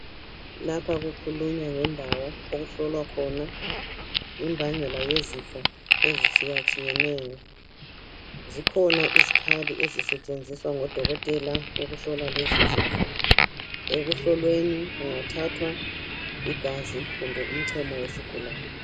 Lapha kukhulunywa ngendawo okuhlolwa khona imbangela yezifo ezitshiyatshiyeneyo. Zikhona izikhali ezisetshenziswa ngodokotela ukuhlola lezo zifo. Ekuhlolweni kungathathwa igazi kumbe umchemo wesigulani.